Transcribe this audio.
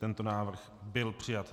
Tento návrh byl přijat.